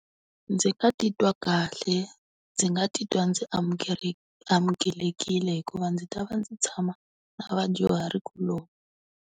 Ndzi nga titwa kahle. Ndzi nga titwa ndzi amukelekile hikuva ndzi ta va ndzi tshama, na vadyuhari kuloni.